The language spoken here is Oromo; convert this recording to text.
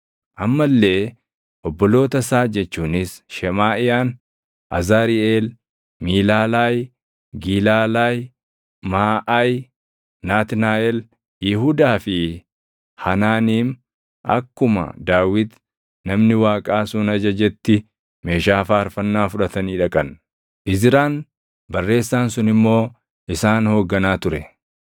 amma illee obboloota isaa jechuunis Shemaaʼiyaan, Azariʼeel, Miilaalaayi, Gilaalayi, Maaʼayi, Naatnaaʼel, Yihuudaa fi Hanaaniim akkuma Daawit namni Waaqaa sun ajajetti meeshaa faarfannaa fudhatanii dhaqan. Izraan barreessaan sun immoo isaan hoogganaa ture.